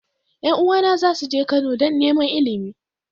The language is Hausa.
Yan uwana za su je Kano don neman Ilimi.